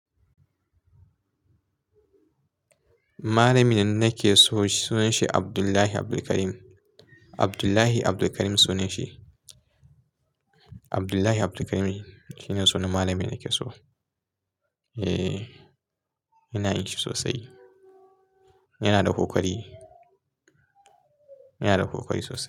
Malamin da nake so sunan shi Abdullahi Abdulkarim. Abdullahi Abdulkarim sunan shi. Abdullahi Abdulkarim shine sunan malamina nake so. Eh, ina jin shi sosai. Yana da kokari. Yana da kokari sosai.